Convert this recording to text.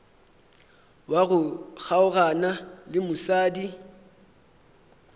wa go kgaogana le mosadi